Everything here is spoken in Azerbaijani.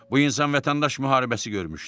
Bu insan vətəndaş müharibəsi görmüşdü.